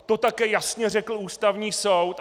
To také jasně řekl Ústavní soud.